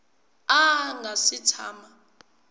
a a nga si tshama